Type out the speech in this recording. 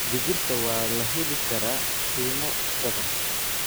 Digirta waa la heli karaa qiimo jaban.